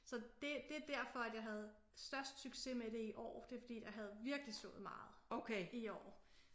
Så det det er derfor at jeg havde størst succes med det i år det er fordi jeg havde virkelig sået meget i år